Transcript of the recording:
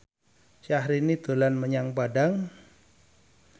Syahrini dolan menyang Padang